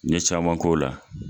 N ye caman k'o la.